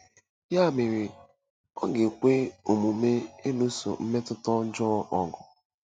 Ya mere, ọ ga-ekwe omume ịlụso mmetụta ọjọọ ọgụ.